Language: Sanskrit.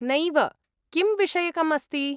नैव, किं विषयकम् अस्ति?